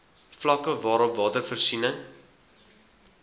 vlakke waarop watervoorsiening